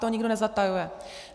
To nikdo nezatajuje.